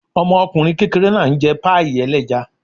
Ọmọkùnrin kékeré náà ń jẹ páàì ẹlẹ́ja